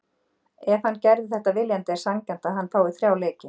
Ef hann gerði þetta viljandi er sanngjarnt að hann fái þrjá leiki.